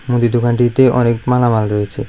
মুদি দোকানটিতে অনেক মালামাল রয়েছে।